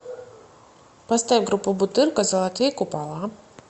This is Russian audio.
поставь группу бутырка золотые купола